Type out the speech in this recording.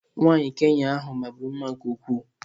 nwanyị Kenya ahu maburu mma nke ukwuu.